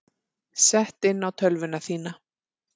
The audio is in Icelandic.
Sett inn á tölvuna þína.